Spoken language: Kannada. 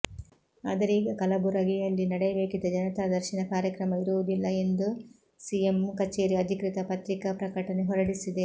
ಆದರೆ ಈಗ ಕಲಬುರಗಿಯಲ್ಲಿ ನಡೆಯಬೇಕಿದ್ದ ಜನತಾದರ್ಶನ ಕಾರ್ಯಕ್ರಮ ಇರುವುದಿಲ್ಲ ಎಂದು ಸಿಎಂ ಕಚೇರಿ ಅಧಿಕೃತ ಪತ್ರಿಕಾ ಪ್ರಕಟಣೆ ಹೊರಡಿಸಿದೆ